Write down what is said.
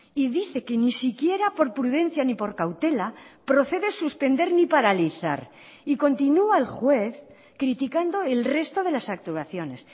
y dice que ni siquiera por prudencia ni por cautela procede suspender ni paralizar y continua el juez criticando el resto de las actuaciones